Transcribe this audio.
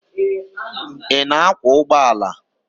Ị na-akwọ ụgbọala?